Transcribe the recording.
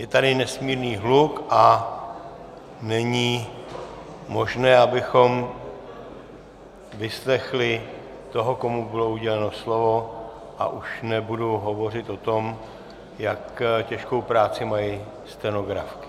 Je tady nesmírný hluk a není možné, abychom vyslechli toho, komu bylo uděleno slovo, a už nebudu hovořit o tom, jak těžkou práci mají stenografky.